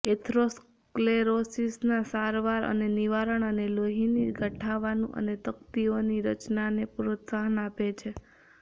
એથરોસ્ક્લેરોસિસના સારવાર અને નિવારણ અને લોહીની ગંઠાવાનું અને તકતીઓની રચનાને પ્રોત્સાહન આપે છે